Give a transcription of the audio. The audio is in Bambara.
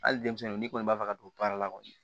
Hali denmisɛnnu n'i kɔni b'a fɛ ka don baara la kɔni